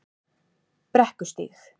Brekkustíg